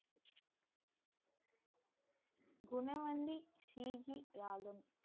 குணவந்தி ஷிகி யாகம்